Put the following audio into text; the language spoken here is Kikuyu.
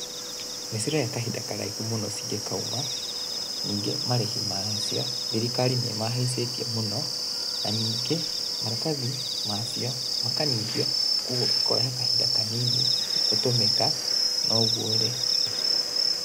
Nĩ ciroya kahinda karaihu mũno cingĩkauma, ningĩ marĩhi macio thirikari nĩ mahaicĩtie mũno na ningĩ maratathi macio makanyihio koguo ikoya kahinda kanini gũtũmĩka, no ũguo rĩ